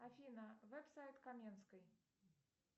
афина веб сайт каменской